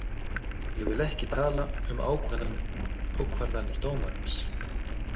Ég vil ekki tala um ákvarðanir dómarans.